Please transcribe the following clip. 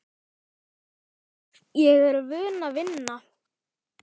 Ég er vön að vinna.